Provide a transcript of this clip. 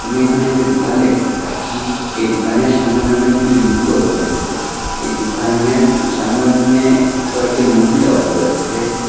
আমি এখানে একটি দুকান দেখতে পাচ্ছি এই দুকানের সামোনে অনেকগুলি লুকও রয়েসে এই দুকানের সামোন্নে কয়েকজন মহিলাও রয়েসে।